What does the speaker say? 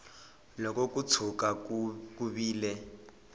loko ko tshuka ku vile